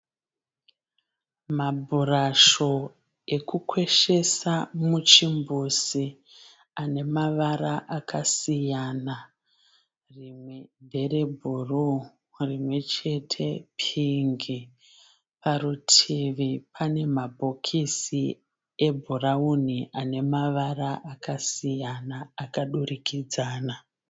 Mabhurasho ekukweshesa muchimbuzi ane mavara akasiyana rimwe ndere bhuruu, rimwe chete pingi parutivi pane mabhokisi ebhurawuni ane mavara akasiyana akadurikidzana.